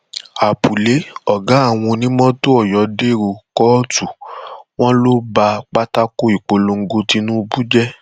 apuley ọgá àwọn onímọtò ọyọ dèrò kóòtù wọn ló ba pátákó ìpolongo tìnùbù jẹ